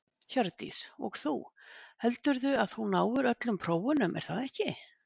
Hjördís: Og þú, heldurðu að þú náir öllum prófunum er það ekki?